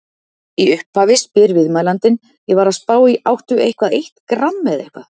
Í upphafi spyr viðmælandinn: Ég var að spá í áttu eitthvað eitt gramm eða eitthvað?